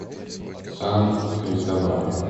сан кристобаль